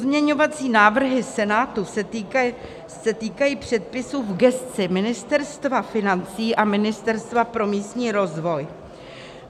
Pozměňovací návrhy Senátu se týkají předpisů v gesci Ministerstva financí a Ministerstva pro místní rozvoj.